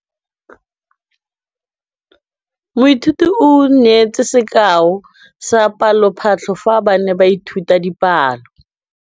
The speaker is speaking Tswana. Moithuti o neetse sekaô sa palophatlo fa ba ne ba ithuta dipalo.